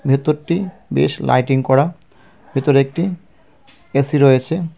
ভেতরটি বেশ লাইটিং করা ভেতরে একটি এ_সি রয়েছে .